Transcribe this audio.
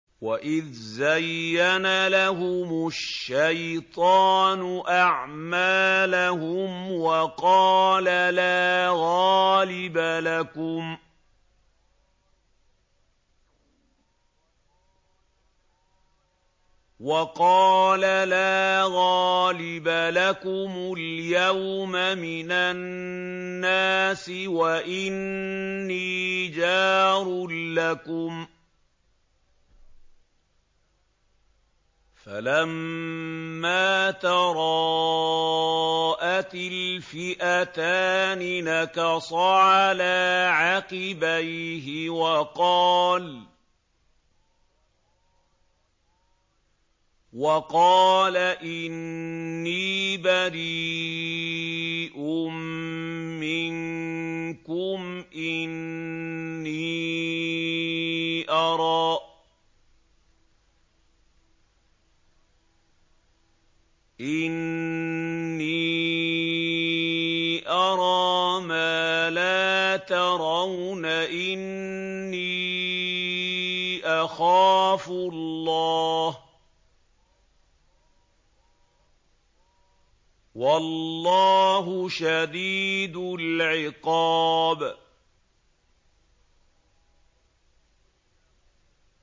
وَإِذْ زَيَّنَ لَهُمُ الشَّيْطَانُ أَعْمَالَهُمْ وَقَالَ لَا غَالِبَ لَكُمُ الْيَوْمَ مِنَ النَّاسِ وَإِنِّي جَارٌ لَّكُمْ ۖ فَلَمَّا تَرَاءَتِ الْفِئَتَانِ نَكَصَ عَلَىٰ عَقِبَيْهِ وَقَالَ إِنِّي بَرِيءٌ مِّنكُمْ إِنِّي أَرَىٰ مَا لَا تَرَوْنَ إِنِّي أَخَافُ اللَّهَ ۚ وَاللَّهُ شَدِيدُ الْعِقَابِ